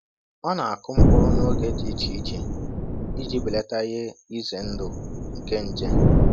Ọ na-akụ mkpụrụ n’oge dị iche iche iji belata ihe ize ndụ nke nje.